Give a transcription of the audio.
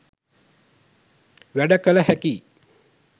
වැඩ කළ හැකියි.